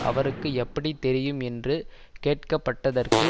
அவருக்கு எப்படி தெரியும் என்று கேட்க பட்டதற்கு